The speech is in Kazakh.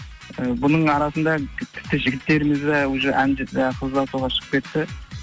і бұның арасында тіпті жігіттеріміз де уже ы қыз ұзатуға шығып кетті